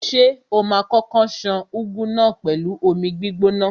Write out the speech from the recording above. Ṣé o ma kókó ṣan úgú náà pẹ̀lú omi gbígbóná?